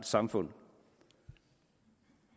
samfund